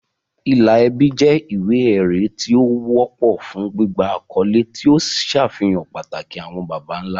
Ìlà ẹbí jẹ́ ìwé-ẹ̀rí tí ó wọ́pọ̀ fún gbígba àkọ́lé, tí ó ń ṣàfihàn pàtàkì àwọn baba ńlá.